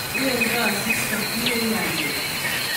Ingwengtoi asista, luu nyanjet